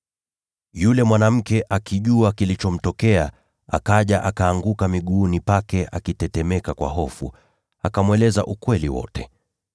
Yule mwanamke, akijua kilichomtokea, akaja, akaanguka miguuni pake akitetemeka kwa hofu, akamweleza ukweli wote.